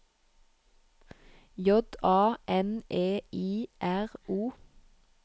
J A N E I R O